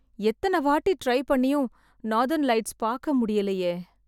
எத்தன வாட்டி ட்ரை பண்ணியும் நார்தர்ன் லைட்ஸ் பாக்க முடியலையே.